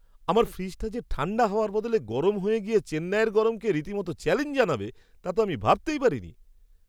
আমার ফ্রিজটা যে ঠাণ্ডা হওয়ার বদলে গরম হয়ে গিয়ে চেন্নাইয়ের গরমকে রীতিমতো চ্যালেঞ্জ জানাবে তা তো আমি ভাবতেই পারিনি!